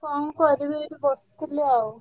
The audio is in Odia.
କଣ କରିବି ଏଇଠି ବସିଥିଲି ଆଉ।